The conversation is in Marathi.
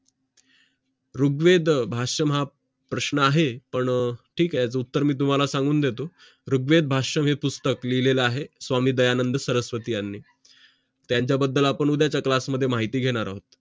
ऋग्वेदभाष्य हा प्रश्न आहे पण ठीक आहे उत्तर मी तुम्हाला सांगून देतो ऋग्वेदभाष्य हे पुस्तक लिहिलेला आहे स्वामी दयानंद सरस्वती यांनी त्यांच्याबद्दल आपण उद्याचा class मध्ये माहिती घेणार आहोत